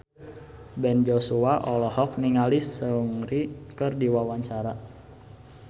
Ben Joshua olohok ningali Seungri keur diwawancara